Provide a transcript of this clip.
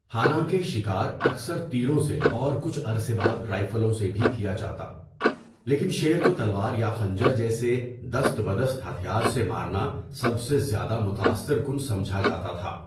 حالانکہ شکار اکثر تیروں سے اور کچھ عرصے بعد رائفلوں سے بھی کیا جاتا، لیکن شیر کو تلوار یا خنجر جیسے دست بدست ہتھیار سے مارنا سب سے زیادہ متاثر کن سمجھا جاتا تھا۔